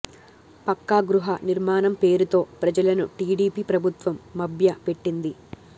పక్కా గృహ నిర్మాణం పేరుతో ప్రజలను టీడీపీ ప్రభుత్వం మభ్య పెట్టింది